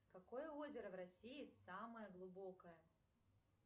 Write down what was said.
какое озеро в россии самое глубокое